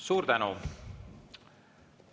Suur tänu!